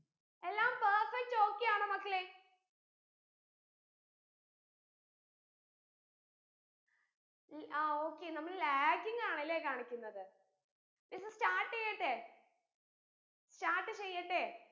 എല്ലാം perfect okay യാണോ മക്കളെ ആ okay നമ്മൾ laging ആണ് ലെ കാണിക്കുന്നത് miss start എയ്യട്ടെ start എയ്യട്ടെ